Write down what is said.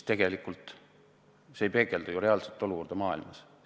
Aga see ei peegelda ju reaalset olukorda maailmas.